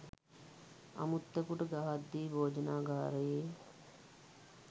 අමුත්තකුට ගහද්දී භෝජනාගාරයේ